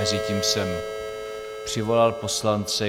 Mezitím jsem přivolal poslance.